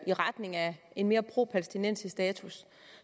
i retning af en mere propalæstinensisk status